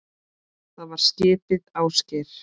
Það var skipið Ásgeir